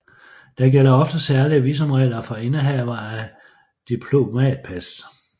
Der gælder ofte særlige visumregler for indehavere af diplomatpas